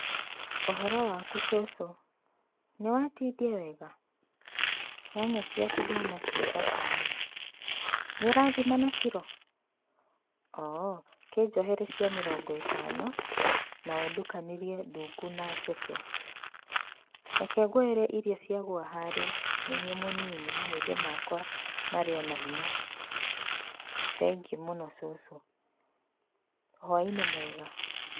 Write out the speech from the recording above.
Ũhoro waku cũcũ, nĩ watindia wega? Nyanya ciaku ndona ciĩ thaka mũno. Nĩ ũrathima na kirũ? Oo, kĩ njohere cia mĩrongo ĩtano, na ũndukanĩrie ndungu na njeke. Reke ngwoere iria ciagũa harĩa, nĩ niĩ mũnini mahĩndĩ makwa marĩ o na hinya. Thengiũ mũno cũcũ. Hwaĩ-inĩ wega.